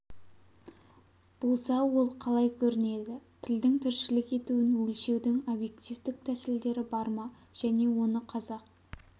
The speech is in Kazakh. болса ол қалай көрінеді тілдің тіршілік етуін өлшеудің объективтік тәсілдері бар ма және оны қазақ